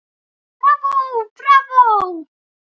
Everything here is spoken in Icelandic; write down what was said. Bravó, bravó